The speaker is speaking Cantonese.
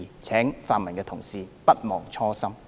請泛民同事勿忘初心。